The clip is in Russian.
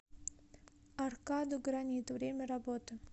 аркадо гранит время работы